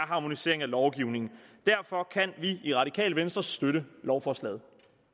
harmonisering af lovgivningen derfor kan vi i det radikale venstre støtte lovforslaget